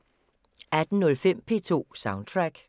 18:05: P2 Soundtrack